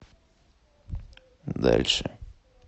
дальше